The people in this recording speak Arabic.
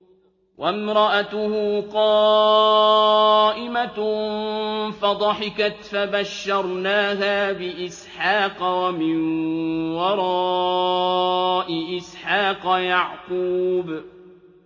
وَامْرَأَتُهُ قَائِمَةٌ فَضَحِكَتْ فَبَشَّرْنَاهَا بِإِسْحَاقَ وَمِن وَرَاءِ إِسْحَاقَ يَعْقُوبَ